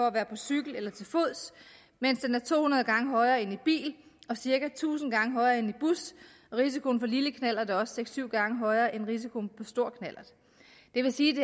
at være på cykel eller til fods mens den er to hundrede gange højere end i bil og cirka tusind gange højere end i bus risikoen på lille knallert er også seks syv gange højere end risikoen på stor knallert det vil sige